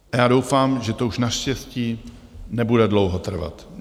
Já doufám, že to už naštěstí nebude dlouho trvat.